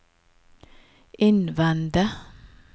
innvende